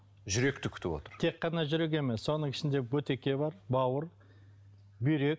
жүректі күтіп отыр тек қана жүрек емес соның ішінде бөтеге бар бауыр бүйрек